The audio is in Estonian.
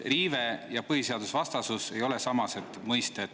Riive ja põhiseadusvastasus ei ole samased mõisted.